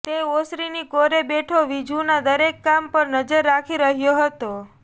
તે ઓસરીની કોરે બેઠો વિજુના દરેક કામ પર નજર રાખી રહ્યો હતો